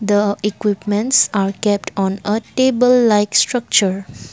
the equipments are kept on a table like structure.